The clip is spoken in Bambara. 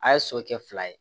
A' ye so kɛ fila ye